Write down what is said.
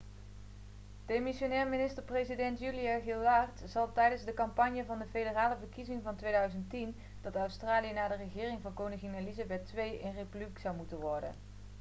demissionair minister-president julia gillard zei tijdens de campagne voor de federale verkiezingen van 2010 dat australië na de regering van koningin elizabeth ii een republiek zou moeten worden